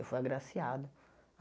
Eu fui agraciado.